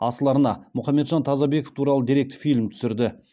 асыл арна мұхамеджан тазабеков туралы деректі фильм түсірді